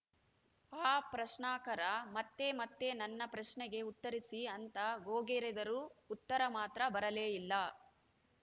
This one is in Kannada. ಆ ಪ್ರಶ್ನಾಕರ ಮತ್ತೆ ಮತ್ತೆ ನನ್ನ ಪ್ರಶ್ನೆಗೆ ಉತ್ತರಿಸಿ ಅಂತ ಗೋಗರೆದರೂ ಉತ್ತರ ಮಾತ್ರ ಬರಲೇ ಇಲ್ಲ